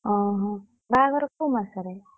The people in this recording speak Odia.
ଓହୋ, ବାହାଘର କୋଉ ମାସ ରେ?